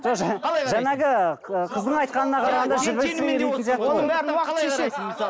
жоқ жаңағы қыздың айтқанына қарағанда